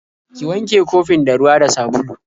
Ki wanke kofin da ruwa da sabulu.